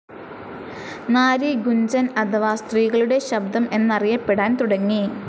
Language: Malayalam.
നാരി ഗുഞ്ചൻ അഥവ സ്ത്രീകളുടെ ശബ്ദം എന്നറിയപ്പെടാൻ തുടങ്ങി.